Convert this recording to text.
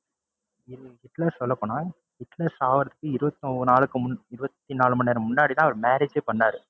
Hitler சொல்லப்போனா Hitler சாகுறதுக்கு இருபத்தி நாலுக்கு முன்னா~இருபத்தி நாலு மணி நேரம் முன்னாடிதான் அவரு marriage ஏ பண்ணாரு.